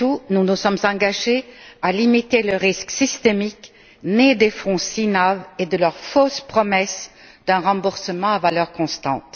Nous nous sommes surtout engagés à limiter le risque systémique né des fonds VLC et de leur fausse promesse d'un remboursement à valeur constante.